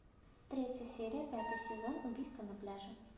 третья серия пятый сезон убийство на пляже